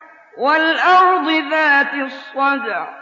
وَالْأَرْضِ ذَاتِ الصَّدْعِ